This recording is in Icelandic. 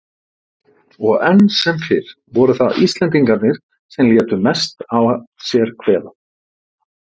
Og enn sem fyrr voru það Íslendingarnir sem létu mest að sér kveða.